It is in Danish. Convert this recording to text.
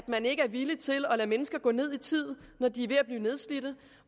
man ikke villig til at lade mennesker gå ned i tid når de er ved at blive nedslidte